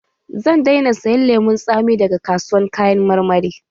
Zan daina sayan lemun tsami daga kasuwan kayan marmari